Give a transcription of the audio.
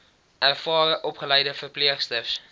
ervare opgeleide verpleegsters